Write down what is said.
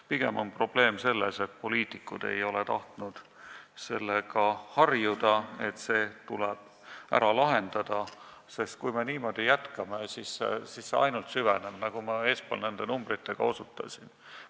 Pigem on probleem selles, et poliitikud ei ole tahtnud harjuda sellega, et see probleem tuleb ära lahendada, sest kui me niimoodi jätkame, siis see ainult süveneb, nagu ma eespool nende numbritega osutasin.